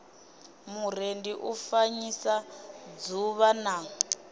murendi u fanyisa dzuvha na